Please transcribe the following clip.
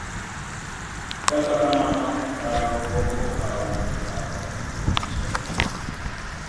Kata kamano, parono pok okaw e paro e piny China.